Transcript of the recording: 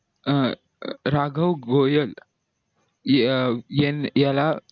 अं राघव घोयल अं यान याला